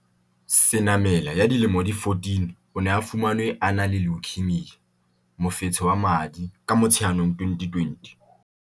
Senamela ya dilemo di 14, o ne a fumanwe a na le leukaemia, mofetshe wa madi, ka Motsheanong 2020.